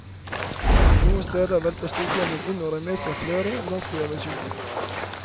Noen steder veltet stormfloden inn og rev med seg flere landsbyer ved sjøen.